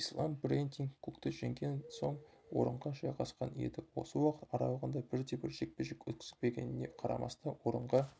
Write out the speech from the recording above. ислам брэндин кукті жеңген соң орынға жайғасқан еді осы уақыт аралығында бірде-бір жекпе-жек өткізбегеніне қарамастан орынға